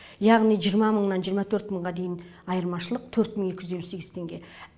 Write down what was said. яғни жиырма мыңнан жиырма төрт мыңға дейін айырмашылық төрт мың екі жүз елу сегіз теңге